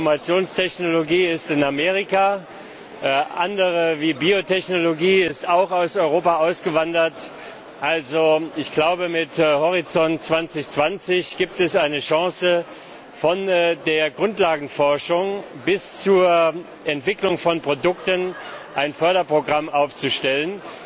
Die Informationstechnologie ist in Amerika konzentriert, andere Bereiche wie Biotechnologie sind auch aus Europa abgewandert. Ich glaube, mit Horizont 2020 gibt es eine Chance, von der Grundlagenforschung bis zur Entwicklung von Produkten ein Förderprogramm aufzustellen.